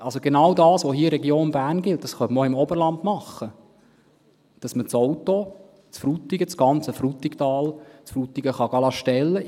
Also: Genau das, was in der Region Bern gilt, könnte man auch im Oberland machen – dass man die Autos aus dem ganzen Frutigtal in Frutigen stellen lassen kann.